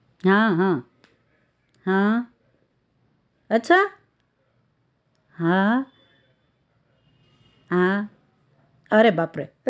હા હા હા અચ્છા હા હા હા અરે બાપ રે